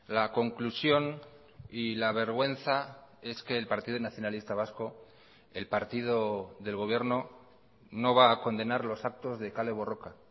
la conclusión y la vergüenza es que el partido nacionalista vasco el partido del gobierno no va a condenar los actos de kale borroka